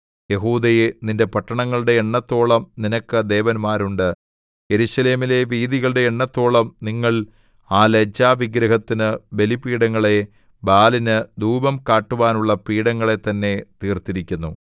യെഹൂദയേ നിന്റെ പട്ടണങ്ങളുടെ എണ്ണത്തോളം നിനക്ക് ദേവന്മാരുണ്ട് യെരൂശലേമിലെ വീഥികളുടെ എണ്ണത്തോളം നിങ്ങൾ ആ ലജ്ജാവിഗ്രഹത്തിനു ബലിപീഠങ്ങളെ ബാലിനു ധൂപം കാട്ടുവാനുള്ള പീഠങ്ങളെ തന്നെ തീർത്തിരിക്കുന്നു